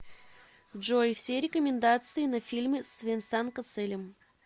джой все рекомендации на фильмы с венсан коселем